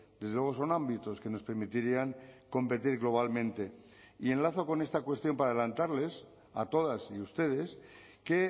desde luego son ámbitos que nos permitirían competir globalmente y enlazo con esta cuestión para adelantarles a todas y ustedes que